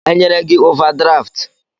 E nyere gị ovadraftụ?